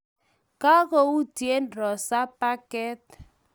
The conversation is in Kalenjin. Kagoutye Rosa paket